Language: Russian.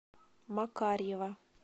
макарьева